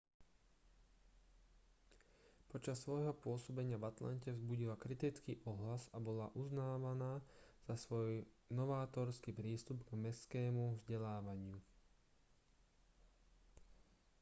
počas svojho pôsobenia v atlante vzbudila kritický ohlas a bola uznávaná za svoj novátorský prístup k mestskému vzdelávaniu